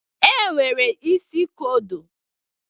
E nwere isi kodo.